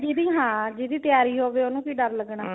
ਹਾਂ ਜਿਹਦੀ ਤਿਆਰੀ ਹੋਵੇ ਉਹਨੂੰ ਕੀ ਡਰ ਲੱਗਨਾ